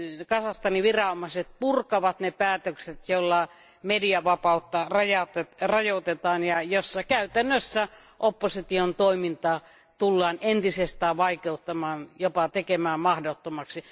Kazakstanin viranomaiset purkavat ne päätökset, joilla mediavapautta rajoitetaan ja joissa käytännössä opposition toimintaa tullaan entisestään vaikeuttamaan, jopa tekemään mahdottomaksi.